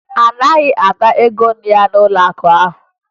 A naghị Ada ego ya n'ụlọakụ ahụ